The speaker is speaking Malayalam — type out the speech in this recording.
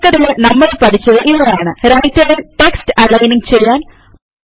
ചുരുക്കത്തില് നമ്മള് പഠിച്ചത് ഇവയാണ് റൈറ്റർ ൽ ടെക്സ്റ്റ് അലയിൻ ചെയ്യാൻ